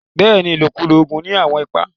Bẹ́ẹ̀ni, ilọ̀kúlọ̀ oogun ni awọn ìpà.